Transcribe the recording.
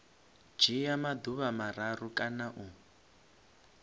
dzhia maḓuvha mararu kana u